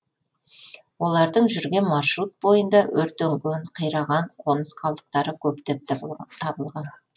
олардың жүрген маршрут бойында өртенген қираған қоныс қалдықтары көптеп табылған